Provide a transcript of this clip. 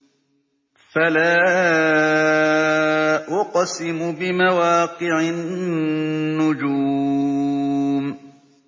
۞ فَلَا أُقْسِمُ بِمَوَاقِعِ النُّجُومِ